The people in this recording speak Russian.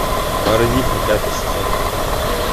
барвиха пятый сезон